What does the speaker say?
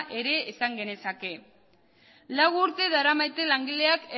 esan genezake lau urte daramate langileak